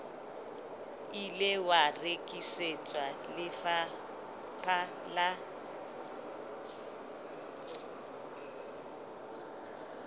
ile wa rekisetswa lefapha la